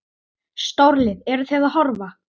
Stórlið, eru Þið að horfa?